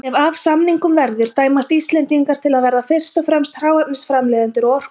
Ef af samningum verður dæmast Íslendingar til að verða fyrst og fremst hráefnisframleiðendur og orkubú.